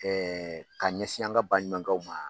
Ɛɛ k'a ɲɛsin an ka baɲumakɛw ma.